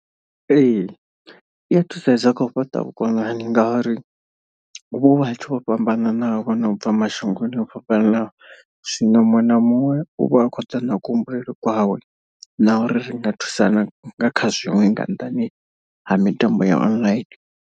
Ee i a thusedza kha u fhaṱa vhukonani ngauri huvha hu vhathu vho fhambananaho vho no bva mashangoni o fhambananaho. Zwino muṅwe na muṅwe u vha a khou ḓa na kuhumbulele kwawe na uri ri nga thusana nga kha zwiṅwe nga nnḓani ha mitambo ya online.